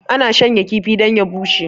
ana shanya kifi don ya bushe